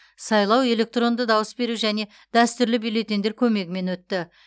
сайлау электронды дауыс беру және дәстүрлі бюллетеньдер көмегімен өтті